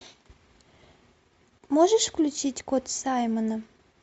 можешь включить кот саймона